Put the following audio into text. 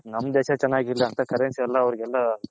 ನಮ್ ದೇಶ ಚೆನಾಗಿರ್ಲಿ ಅಂತ Currency ಎಲ್ಲಾ